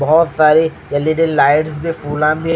बहोत सारे L E D lights --